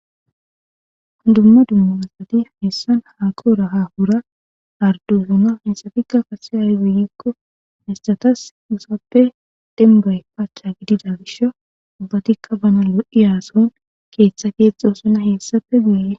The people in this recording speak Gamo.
Hundumma dummu issati meessan haakooraha hura ardusuna hessafikka kase argeyikko hestatas usappe denbay paacha gidida gish ubbatikka bana lo'i yaason keeththa keexxo suna heessafe guyee.